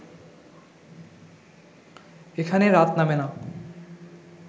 এখানে রাত নামে না